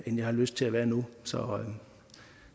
jeg har lyst til at være nu